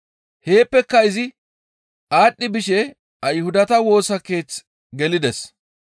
Heeppe izi aadhdhi bishe Ayhudata Woosa Keeth gelides.